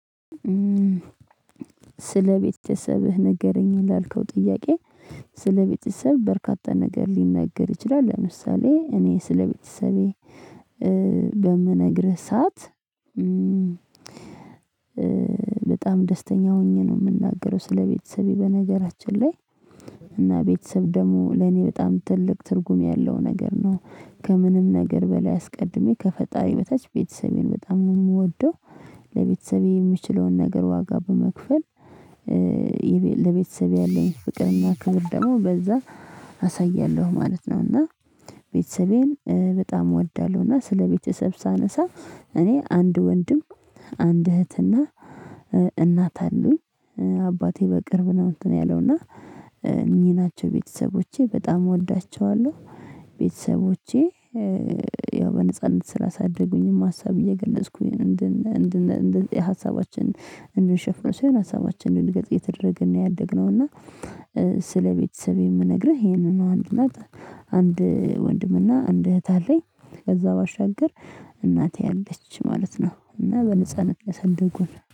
ስለ ቤተሰብህ ንገረኝ ላልከው ጥያቄ? ስለ ቤተሰብ በርካታ ነገር ሊነገር ይችላል። ለምሳሌ እኔ ስለቤተሰቤ በምነግርህ ሰዓት በጣም ደስተኛ ሆኜ ነው የምናገረው ስለቤተሰቤ በነገራችን ላይ። እና ቤተሰብ ደግሞ ለኔ በጣም ትልቅ ትርጉም ያለው ነገር ነው ከምንም ነገር በላይ አስቀድሜ ከፈጣሪ በታች ቤተሰቤን በጣም ነው የምወደው። ለቤተሰቤ የምችለውን ነገር ዋጋ በመክፈል ለቤተሰብ ያለኝ ፍቅርና ክብር ደግሞ በዛ አሳያለሁ ማለት ነው። እና ቤተሰቤን በጣም እወዳለሁ። እና ስለ ቤተሰብ ሳነሳ እኔ አንድ ወንድም አንድ እህትና እናት አሉኝ አባቴ በቅርብ ነው እንትን ያለውና እና እኚህ ናቸው ቤተሰቦቼ በጣም እወዳቸዋለሁ። ቤተሰቦቼ ያው በነጻነት ስላሳደጉኝም ሀሳብ እየገለጽኩኝ እንድ ሀሳባችን እንደሸፍን ሳይሆን ሀሳባችንን እንድንገልጽ እየተደረገ ነው ያደግነው። እና ስለቤተሰብ የምነግርህ ይሄንን ነው። አንድ እናት አንድ ወንድምና አንድ እህት አለኝ ከዛ ባሻገር እናቴ አለች ማለት ነው እና በንጻነት ያሳደጉን።